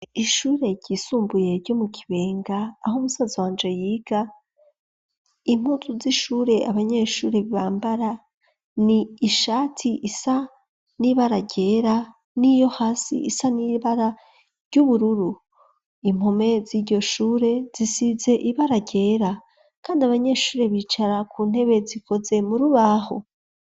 Ishure ryisumbuye ryo mu kibenga aho umusaza wanje yiga impuzu z'ishure abanyeshure bbambara ni ishati isa n'ibara ryera n'iyo hasi isa n'ibara ry'ubururu impome z'iryoshure zisize ibara ryera kandi abanyeshure bicara ku ntebe zikoze mu rubaho.